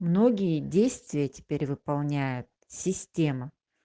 многие действия теперь выполняет система